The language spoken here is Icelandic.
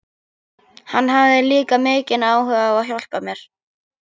Hann hafði líka mikinn áhuga á að hjálpa mér.